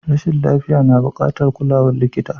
Rashin lafiya na bukatar kulawar likita.